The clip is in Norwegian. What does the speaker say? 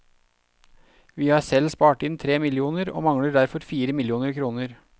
Vi har selv spart inn tre millioner, og mangler derfor fire millioner kroner.